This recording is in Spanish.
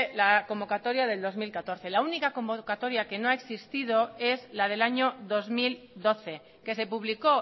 la convocatoria del dos mil catorce la única convocatoria que no ha existido es la del año dos mil doce que se publicó